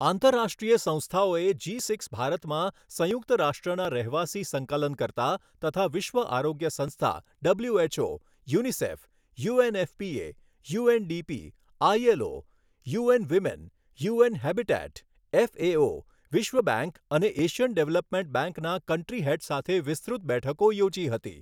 આંતરરાષ્ટ્રીય સંસ્થાઓએ G six ભારતમાં સંયુક્ત રાષ્ટ્રના રહેવાસી સંકલનકર્તા તથા વિશ્વ આરોગ્ય સંસ્થા WHO, UNICEF, UNFPA, UNDP, ILO, UN women, UN Habitat, FAO, વિશ્વ બેંક અને એશિયન ડેવલપમેન્ટ બેંકના કન્ટ્રી હેડ સાથે વિસ્તૃત બેઠકો યોજી હતી.